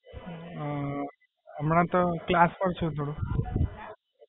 અમ હમણાં તો ક્લાસ પર છું થોડું.